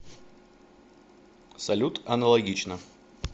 салют аналогично